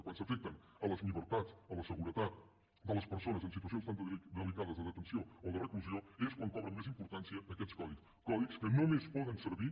quan s’afecten les llibertats la seguretat de les persones en situacions tan delicades de detenció o de reclusió és quan cobren més importància aquests codis codis que només poden servir